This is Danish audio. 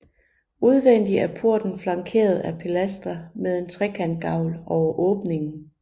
Udvendig er porten flankeret af pilastre med en trekantgavl over åbningen